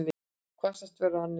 Hvassast verður á annesjum